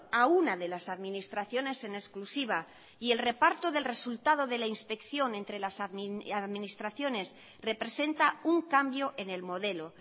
a una de las administraciones en exclusiva y el reparto del resultado de la inspección entre las administraciones representa un cambio en el modelo